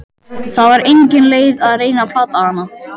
Það var engin leið að reyna að plata hana.